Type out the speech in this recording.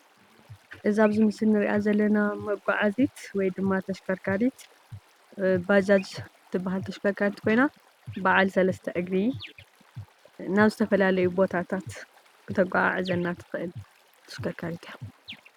እዛ ኣብዚ ምስሊ ንሪኣ ዘለና መጓዓዚት ወይ ደማ ተሽከረከሪት ባጃጅ ትበሃል ።ተሽከርካሪት ኮይና በዓል ሰለስተ እግሪ ናብ ዝተፈላለዩ ቦታታት ክተጓዓዕዘና ትክእል ተሽከርካሪት እያ።